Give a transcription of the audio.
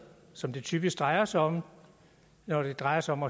som det typisk drejer sig om når det drejer sig om